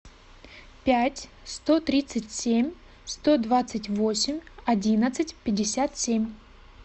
пять сто тридцать семь сто двадцать восемь одиннадцать пятьдесят семь